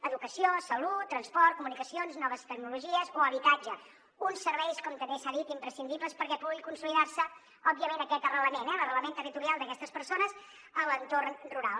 educació salut transport comunicacions noves tecnologies o habitatge uns serveis com també s’ha dit imprescindibles perquè pugui consolidar se òbviament aquest arrelament eh l’arrelament territorial d’aquestes persones a l’entorn rural